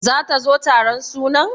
Zata zo taron sunan?